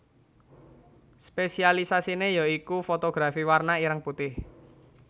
Spésialisasiné ya iku fotografi warna ireng putih